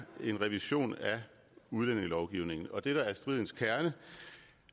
en revision af udlændingelovgivningen og det der er stridens kerne